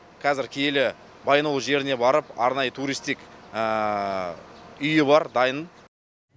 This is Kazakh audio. қазір киелі баянауыл жеріне барып арнайы туристік үйі бар дайын